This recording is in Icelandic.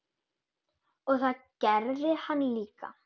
Og það gerði hann líka.